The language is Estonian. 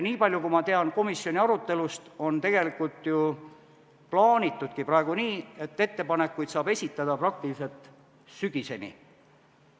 Niipalju, kui ma tean komisjoni arutelust, on plaanitudki praegu nii, et ettepanekuid saab esitada praktiliselt sügiseni.